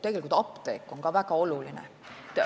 Tegelikult on esmatasandil apteek ka väga oluline.